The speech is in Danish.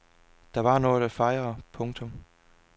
Der var noget at fejre. punktum